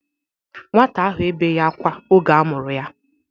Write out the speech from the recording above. Nwata ahụ ebeghi akwa oge amuru ya